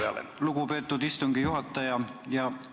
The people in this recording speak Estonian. Aitäh, lugupeetud istungi juhataja!